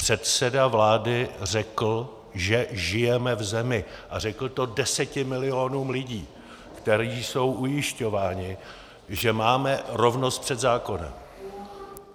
Předseda vlády řekl, že žijeme v zemi - a řekl to deseti milionům lidí, kteří jsou ujišťováni, že máme rovnost před zákonem.